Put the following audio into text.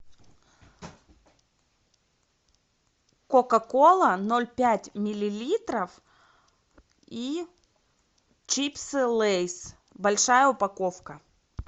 кока кола ноль пять миллилитров и чипсы лейс большая упаковка